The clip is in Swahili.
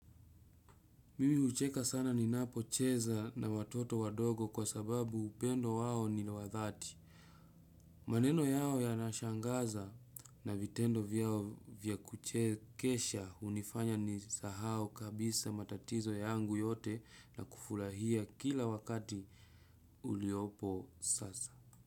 Mimi ucheka sana ninapocheza na watoto wadogo kwa sababu upendo wao ni wadhati. Maneno yao yanashangaza na vitendo vyao vya kuchesha unifanya ni sahau kabisa matatizo yangu yote na kufurahia kila wakati uliopo sasa.